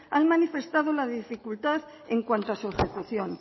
han manifestado la dificultad en cuanto a su ejecución